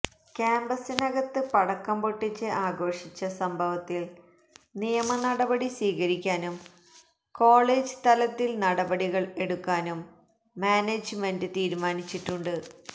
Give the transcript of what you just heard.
ക്യാംപസിനകത്ത് പടക്കം പൊട്ടിച്ച് ആഘോഷിച്ച സംഭവത്തില് നിയമ നടപടി സ്വീകരിക്കാനും കോളേജ് തലത്തില് നടപടികള് എടുക്കാനും മാനേജ്മെന്റ് തീരുമാനിച്ചിട്ടുണ്ട്